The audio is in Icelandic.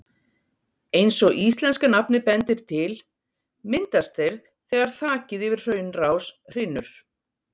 Eins og íslenska nafnið bendir til, myndast þeir þegar þakið yfir hraunrás hrynur.